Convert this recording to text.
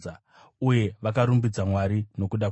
Uye vakarumbidza Mwari nokuda kwangu.